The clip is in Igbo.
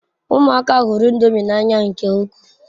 Umuaka huru ndomi n'anya nke ukwu